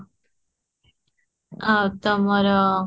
ଆଉ ତମର